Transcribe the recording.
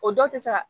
O dɔw tɛ se ka